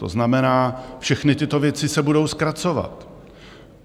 To znamená, všechny tyto věci se budou zkracovat.